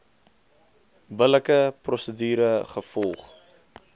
billike prosedure gevolg